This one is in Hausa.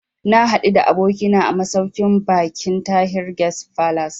Na haɗu da abokina a masauƙin baƙin Tahir Guest Falace